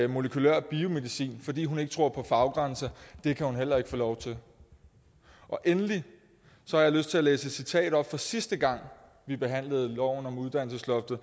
molekylær biomedicin fordi hun ikke tror på faggrænser det kan hun heller ikke få lov til endelig har jeg lyst til at læse et citat op fra sidste gang vi behandlede loven om uddannelsesloftet